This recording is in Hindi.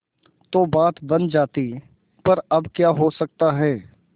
तो बात बन जाती पर अब क्या हो सकता है